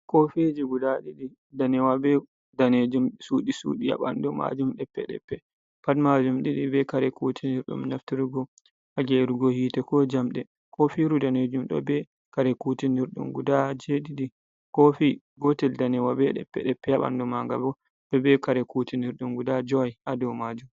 Koofiiji ''gudaa'' ɗiɗi ndaneewa bee daneejum suudi-suudi haa ɓanndu maajum ɗeppe-ɗeppe. Pat maajum ɗiɗi bee kare kuutinirɗum, naftirgo haa ''geerugo'' hiite koo jamɗe. Koofiiru raneeru ɗo bee kare kuutinirɗe ''gudaa' joweeɗiɗi. Koofi gootel daneyel bee ɗeppe-ɗeppe haa ɓanndu maangel, bo ɗo bee kare kuutinirɗum ''gudaa'' jowi haa dow maajum.